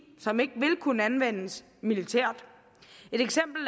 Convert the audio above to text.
som ikke vil kunne anvendes militært et eksempel